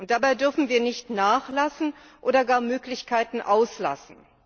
Dabei dürfen wir nicht nachlassen oder gar Möglichkeiten auslassen.